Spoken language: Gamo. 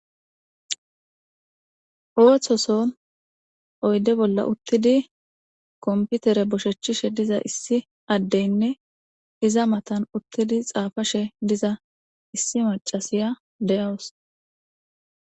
Otoson oyide bola utidi konpitere boshetishe diza issi addenne iza matan utada xafashe diza issi macasiy deawusu.